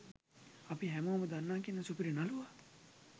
අපි හැමෝම දන්න කියන සුපිරි නළුවා